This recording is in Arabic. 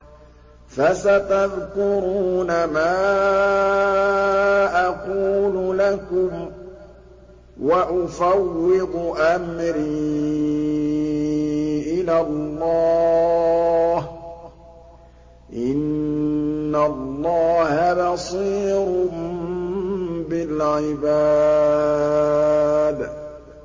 فَسَتَذْكُرُونَ مَا أَقُولُ لَكُمْ ۚ وَأُفَوِّضُ أَمْرِي إِلَى اللَّهِ ۚ إِنَّ اللَّهَ بَصِيرٌ بِالْعِبَادِ